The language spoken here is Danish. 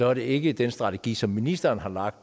er det ikke den strategi som ministeren har lagt